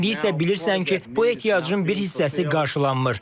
İndi isə bilirsən ki, bu ehtiyacın bir hissəsi qarşılanmır.